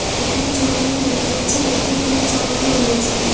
এখানে ছবিটিতে দেখা যাচ্ছে একটি ফ্যান চালানো রয়েছে।